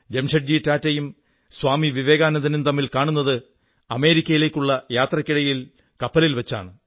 ജെംഷഡ്ജി ടാറ്റായും സ്വാമി വിവേകാനന്ദനും തമ്മിൽ കാണുന്നത് അമേരിക്കയിലേക്കുള്ള യാത്രയ്ക്കിടയിൽ കപ്പലിൽ വച്ചാണ്